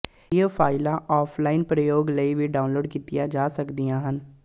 ਇਹ ਫਾਈਲਾਂ ਆਫਲਾਈਨ ਪ੍ਰਯੋਗ ਲਈ ਵੀ ਡਾਊਨਲੋਡ ਕੀਤੀਆਂ ਜਾ ਸਕਦੀਆਂ ਹਨ